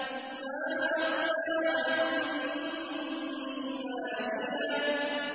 مَا أَغْنَىٰ عَنِّي مَالِيَهْ ۜ